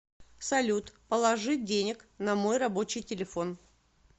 салют положи денег на мой рабочий телефон